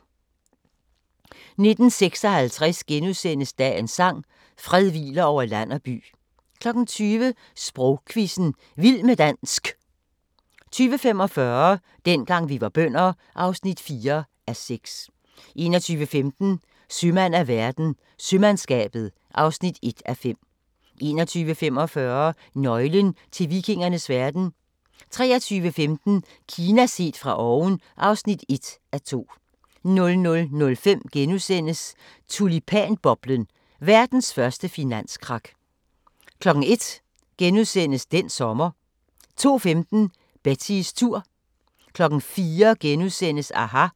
19:56: Dagens sang: Fred hviler over land og by * 20:00: Sprogquizzen – Vild med dansk 20:45: Dengang vi var bønder (4:6) 21:15: Sømand af verden – Sømandskabet (1:5) 21:45: Nøglen til vikingernes verden 23:15: Kina set fra oven (1:2) 00:05: Tulipanboblen – verdens første finanskrak * 01:00: Den sommer * 02:15: Betties tur 04:00: aHA! *